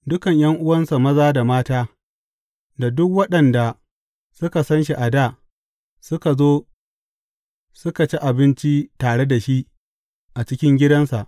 Dukan ’yan’uwansa maza da mata da duk waɗanda suka san shi a dā suka zo suka ci abinci tare da shi a cikin gidansa.